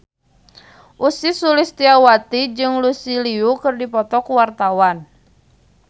Ussy Sulistyawati jeung Lucy Liu keur dipoto ku wartawan